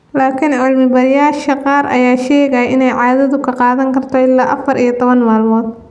Laakiin cilmi-baarayaasha qaar ayaa sheegaya in caadadu ay qaadan karto ilaa afaar iyo labatan maalmood.